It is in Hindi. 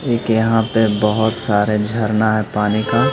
एक यहां पे बहुत सारे झरना है पानी का।